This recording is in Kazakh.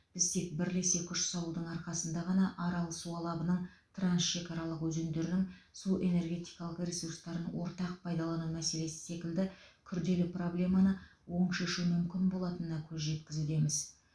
біз тек бірлесе күш салудың арқасында ғана арал су алабының трансшекаралық өзендерінің су энергетикалық ресурстарын ортақ пайдалану мәселесі секілді күрделі проблеманы оң шешу мүмкін болатынына көз жеткізудеміз